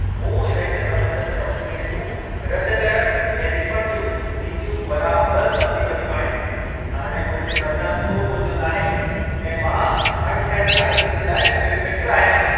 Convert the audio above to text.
मूं इवेंट प्रॿंधन कम्पनीअ जूं रद्दि करण ऐं रीफंड जूं नीतियूं बराबर समिझी वरितियूं आहिनि। हाणे मुंहिंजे मथां को ॿोझो नाहे ऐं मां अणिथियणी हालतुनि जे लाइ बेफ़िक्रु आहियां.